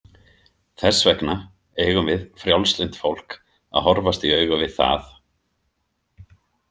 Þess vegna eigum við frjálslynt fólk að horfast í augu við það.